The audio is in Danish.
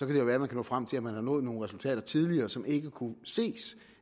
det være at man når frem til at man har nået nogle resultater tidligere som ikke kunne ses